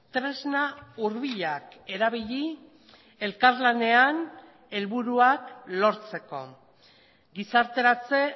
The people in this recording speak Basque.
tresna hurbilak erabili elkarlanean helburuak lortzeko gizarteratze